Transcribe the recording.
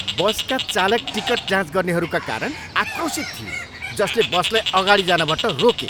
बसका चालक टिकट जाँच गर्नेहरूका कारण आक्रोशित थिए, जसले बसलाई अगाडि जानबाट रोके।